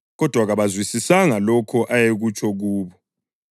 Kodwa kabazwisisanga lokho ayekutsho kubo.